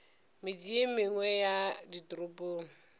metse ye mengwe ya ditoropong